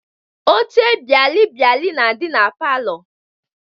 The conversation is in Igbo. Oche bịalịbịalị na-adị na palọ